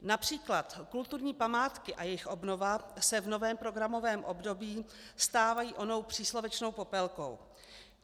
Například kulturní památky a jejich obnova se v novém programovém období stávají onou příslovečnou popelkou.